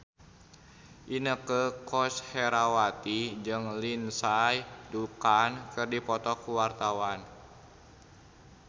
Inneke Koesherawati jeung Lindsay Ducan keur dipoto ku wartawan